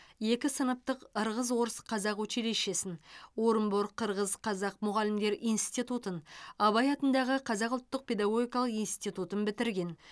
екі сыныптық ырғыз орыс қазақ училищесін орынбор қырғыз қазақ мұғалімдер институтын абай атындағы қазақ ұлттық педагогикалық институтын бітірген